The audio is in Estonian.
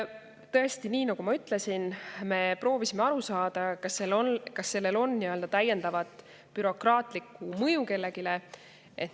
Tõesti, nii nagu ma ütlesin, me proovisime aru saada, kas sellel on kellelegi täiendav bürokraatlik mõju.